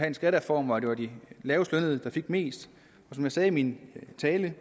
en skattereform hvor det var de lavestlønnede der fik mest som jeg sagde i min tale